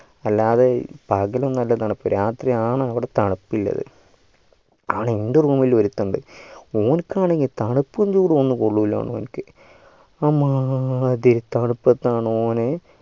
അല്ലാതെ പകലൊന്നുമല്ല തണുപ്പ് രാത്രിയാണ് ഇവിടെ താണുപ്പുള്ളത് അവിട എൻ്റെ room ലൊരുത്തനിണ്ടു ഓൻകാണെങ്കിൽ തണുപ്പും ചൂടും കൊള്ളൂല ഓനിക് അമ്മാതിരി തണുപ്പത്താണ് ഓന്